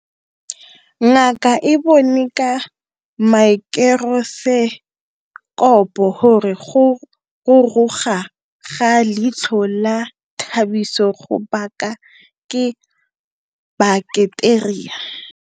Ngaka e bone ka maekorosekopo gore go ruruga ga leitlho la Thabiso go baka ke baketeria.